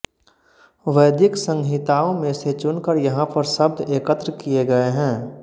वैदिक संहिताओं में से चुनकर यहाँ पर शब्द एकत्र किए गए हैं